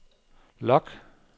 log